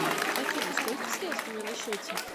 афина сколько средств у меня на счете